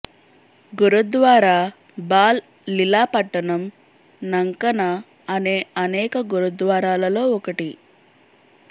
గురుద్వారా బాల్ లిలా పట్టణం నంకన అనే అనేక గురుద్వారాలలో ఒకటి